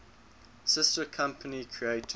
sister company creative